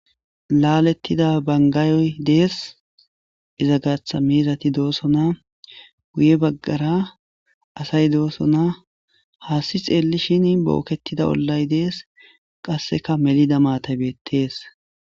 Laalettida bangaayoy dees izagatha meezati doosona guye baggara asay doosona haasti xeelli shin bookketida ollay dees qasseka melida maatabettees.